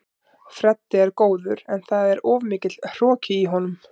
Freddi er góður en það er of mikill hroki í honum.